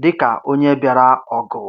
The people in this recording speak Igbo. dịka onye bịara ọgụ